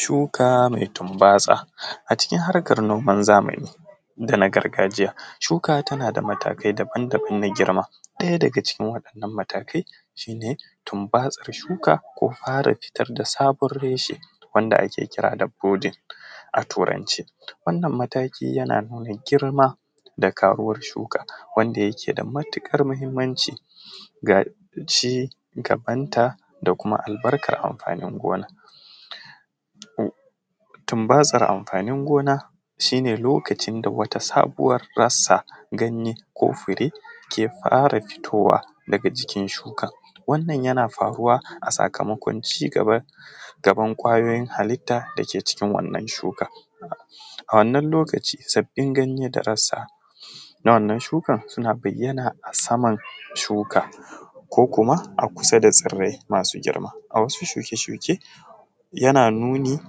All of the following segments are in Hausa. Shuka mai tunbatsa a cikin harkar noma zamani da na gargajiya, shuka tana da matukar matakai shi ne tunbatsar shuka ko fitar da sabon reshe wanda ake kira da flooding a turance wannan mataki yana nuna girma da karuwar shuka wanda yake da matukar muhimmanci ga cigaban ta da kuma albarkan amfani gona, tunbatsar amfani gona shi ne lokacin da wata sabuwan rasa ko ganye ko fure ke fara fitowa daga jikin shukan, wannan yana faruwa a sakamakon cigaban ƙwayoyin halitan dark cikin wannan shuka a wannan lokaci sabbin ganye da rasa na wannan shukan suna bayyana a saman shukan ko kumakusa da tsirai masu girma a wasu shuke-shuken yana nuni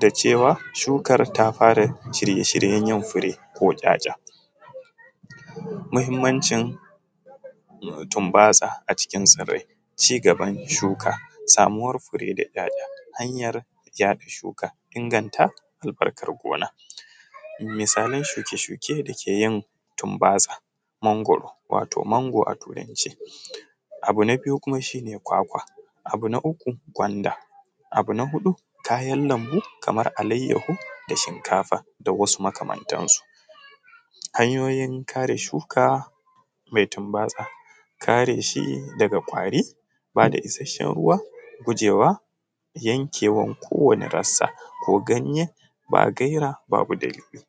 da cewa shukar tafara cire shiryayen fure ko ƙyaja, muhimmancin tunbatsa a cikin tsirai, cigaban shuka samuwar fure ko yaɗa shuka albarkan gona misalan shuke-shuke da ke yin tunbatsa mangwaro wato mango a turance, abu na biyu shi ne kwakwa, abu na uku gwanda abun na huɗu kayan lambu kamar alayawo da shinkafa da wasu makamantansu, hanyoyin kare shuka mai tunbatsa kare shi daga ƙwari ba da isasshen ruwa gujewa yankewar kowani rasa ko ganye ba gaira babu dalili.